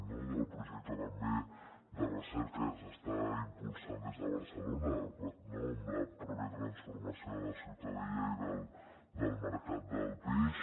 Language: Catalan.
no del projecte també de recerca que s’està impulsant des de barcelona amb la pròpia transformació de la ciutadella i del mercat del peix